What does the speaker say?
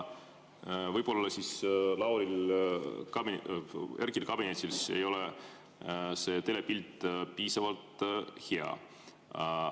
Võib-olla Erkki kabinetis ei ole see telepilt piisavalt hea.